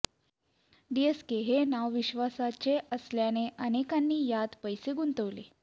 DSK हे नाव विश्वासाचे असल्याने अनेकांनी त्यात पैसे गुंतवले